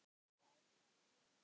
Ég læt það nú vera.